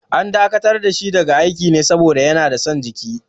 An dakatar da shi daga aiki ne saboda yana da son jiki.